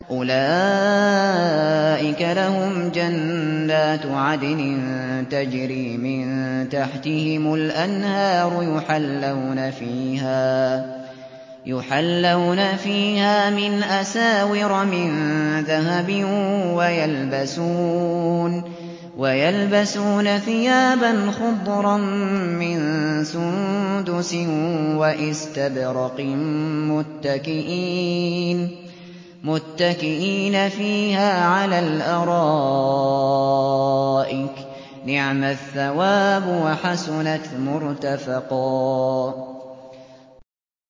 أُولَٰئِكَ لَهُمْ جَنَّاتُ عَدْنٍ تَجْرِي مِن تَحْتِهِمُ الْأَنْهَارُ يُحَلَّوْنَ فِيهَا مِنْ أَسَاوِرَ مِن ذَهَبٍ وَيَلْبَسُونَ ثِيَابًا خُضْرًا مِّن سُندُسٍ وَإِسْتَبْرَقٍ مُّتَّكِئِينَ فِيهَا عَلَى الْأَرَائِكِ ۚ نِعْمَ الثَّوَابُ وَحَسُنَتْ مُرْتَفَقًا